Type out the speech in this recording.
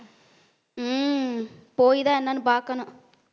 உம் போய்தான் என்னன்னு பாக்கணும்.